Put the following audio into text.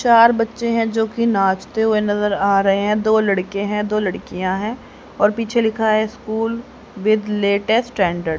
चार बच्चे हैं जोकि नाचते हुए नजर आ रहे हैं दो लड़के हैं दो लड़कियां हैं और पीछे लिखा है स्कूल विद लेटेस्ट स्टैंडर्ड --